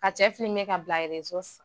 Ka cɛ filime ka bila reso